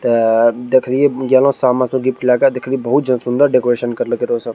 त देखरिय जना समा गिफ्ट लगे देखली बहुत जो सुंदर डेकोरेशन कर ले के रे सन।